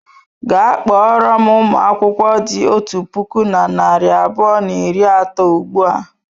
Gaa kpọrọ m ụmụ akwụkwọ dị otu puku na narị abụọ na iri atọ ugbu a!